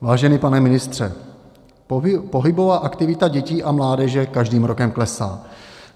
Vážený pane ministře, pohybová aktivita dětí a mládeže každým rokem klesá.